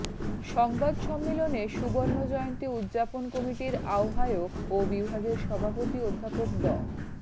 সংবাদ সম্মেলনে সুবর্ণ জয়ন্তী উদযাপন কমিটির আহ্বায়ক ও বিভাগের সভাপতি অধ্যাপক ড